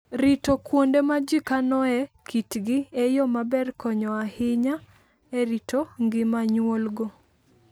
Rito kuonde ma ji kanoe kitgi e yo maber konyo ahinya e rito ngima nyuolgo.